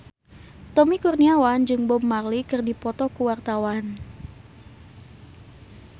Tommy Kurniawan jeung Bob Marley keur dipoto ku wartawan